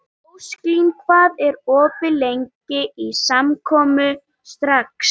Ósklín, hvað er opið lengi í Samkaup Strax?